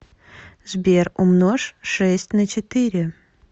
сбер умножь шесть на четыре